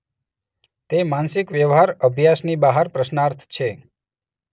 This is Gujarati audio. તે માનસિક વ્યવહાર અભ્યાસની બહાર પ્રશ્નાર્થ છે.